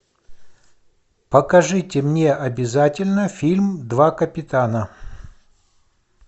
покажите мне обязательно фильм два капитана